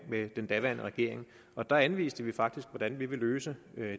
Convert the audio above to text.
med den daværende regering og der anviste vi faktisk hvordan vi ville løse